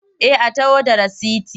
Eh a taho da rasiti.